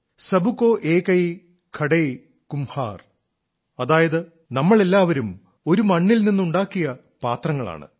sub കൌ ഏകൈ ഘടൈ കുംമ്ഹാർ അതായത് നമ്മളെല്ലാവരും ഒരു മണ്ണിൽ നിന്നുണ്ടാക്കിയ പാത്രങ്ങളാണ്